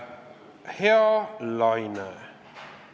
Hea Laine!